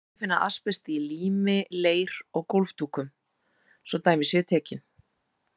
Einnig má finna asbest í lími, leir og gólfdúkum, svo dæmi séu tekin.